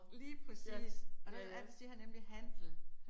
Lige præcis. Og der er det siger han nemlig handel